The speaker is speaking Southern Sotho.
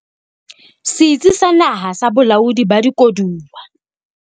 Setsi sa Naha sa Bolaodi ba Dikoduwa